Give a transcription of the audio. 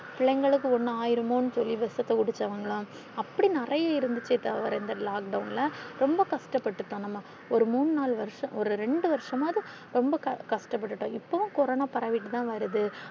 பிள்ளைங்களுக்கு ஒண்ணும் ஆயிருமோன்னு சொல்லி விஷத்தை குடிச்சவங்க எல்லாம் அப்படி நிறையா இருந்துச்சே தவிர இந்த lockdown ல ரொம்ப கஷ்டப்பட்டுடோம் நாம ஒரு மூணு நாளு வருஷம் ஒரு ரெண்டு வருஷமாவது ரொம்ப கஷ்டப்பட்டுடோம் இப்பவும் கொரோனா பரவிட்டு தான் வருது